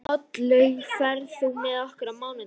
Oddlaug, ferð þú með okkur á mánudaginn?